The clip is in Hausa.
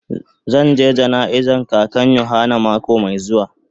Zan je jana'iza kakan yohana mako mai zuwa.